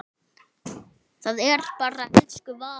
Það er bara elsku Vala.